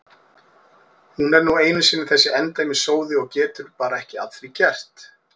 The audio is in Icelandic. Hún er nú einu sinni þessi endemis sóði og getur bara ekki að því gert.